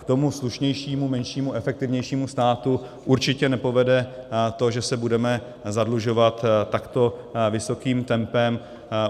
K tomu slušnějšímu, menšímu, efektivnějšímu státu určitě nepovede to, že se budeme zadlužovat takto vysokým tempem.